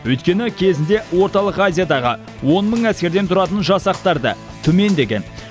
өйткені кезінде орталық азиядағы он мың әскерден тұратын жасақтарды түмен деген